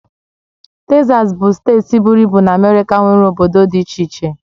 Tesas bụ steeti buru ibu na Amérika nwere obodo dị iche iche.